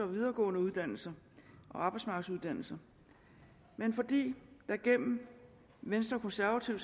videregående uddannelser og arbejdsmarkedsuddannelser men fordi der igennem venstre konservative